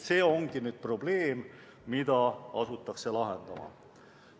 See ongi probleem, mida asutakse lahendama.